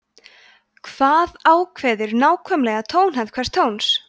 hvað ákveður nákvæmlega tónhæð hvers tóns